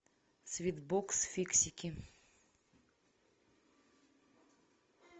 свит бокс фиксики